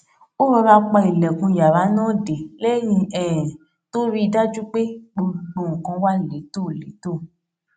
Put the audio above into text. ó rọra pa ilèkùn yàrá náà dé léyìn um tó rí i dájú pé gbogbo nǹkan wà létòlétò